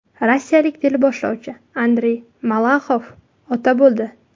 Rossiyalik teleboshlovchi Andrey Malaxov ota bo‘ldi.